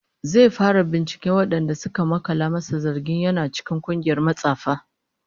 Zai fara binciken wadanda suka makala masa zargin yana cikin kungiyar matsafa